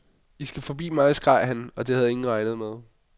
I skal forbi mig, skreg han, og det havde ingen regnet med.